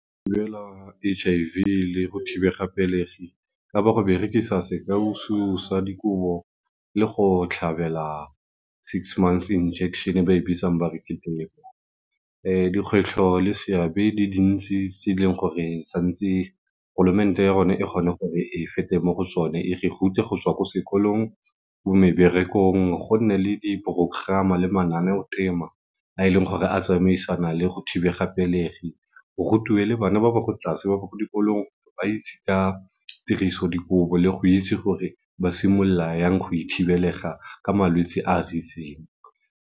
H_I_V le go thibega pelegi ka ba go berekisa sa dikobo le go tlhabela six months injection e ba e bitsang ba re ke Depo. dikgwetlho le seabe di dintse tse e leng gore santse ya rona e kgone gore e fete mo go tsone e re rute go tswa ko sekolong, mo meberekong, go nne le di porogerama le mananeotema a e leng gore a tsamaisana le go thibega pelegi, go rutiwe le bana ba ko tlase ba ko sekolong ba itse ka tiriso dikobo le go itse ka gore ba simolola yang go e thibelega ka malwetsi a a .